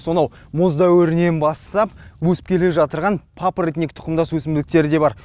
сонау мұз дәуірінен бастап өсіп келе жатырған папоротник тұқымдас өсімдіктер де бар